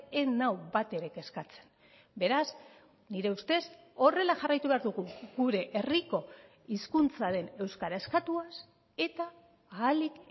ez nau batere kezkatzen beraz nire ustez horrela jarraitu behar dugu gure herriko hizkuntzaren euskara eskatuaz eta ahalik